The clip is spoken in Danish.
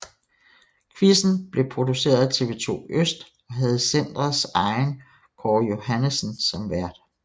Quizzen blev produceret af TV2 Øst og havde centrets egen Kåre Johannessen som vært